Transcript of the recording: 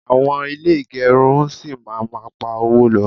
awon ile igerun si ma ma pa owo lo